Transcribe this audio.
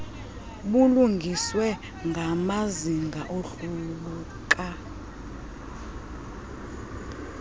bulungiswe ngamazinga awohluka